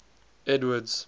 edward's